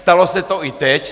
Stalo se to i teď.